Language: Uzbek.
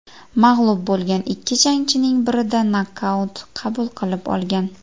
Mag‘lub bo‘lgan ikki jangining birida nokaut qabul qilib olgan.